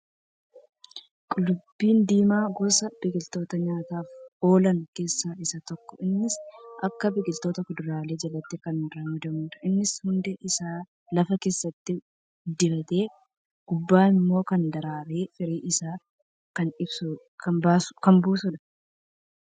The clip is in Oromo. Qullubbii diimaan, gosa biqiloota nyaataaf oolan keessaa isa tokko. Innis akka biqiltoota kuduraalee jalatti kan ramadamudha. Innis hundee isaa lafa keessatti guddifatee gubbaan immoo kan daraaree firii isaa kan buusudha.